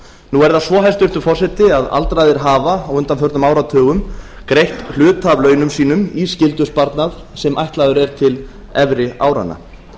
nú er það svo hæstvirtur forseti að aldraðir hafa á undanförnum áratugum greitt hluta af launum sínum í skyldusparnað sem ætlaður er til efri áranna